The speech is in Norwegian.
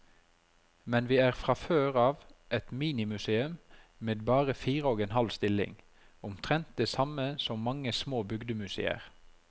Men vi er fra før av et minimuseum med bare fire og en halv stilling, omtrent det samme som mange små bygdemuseer.